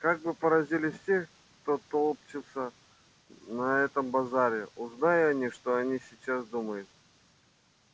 как бы поразились все кто толчётся на этом базаре узнай они что они сейчас думает